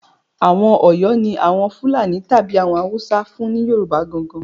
Àwọn Ọ̀yọ́ ni Àwọn Fúlàní tàbí àwọn Haúsá fún ni Yorùbá gan-an gan-an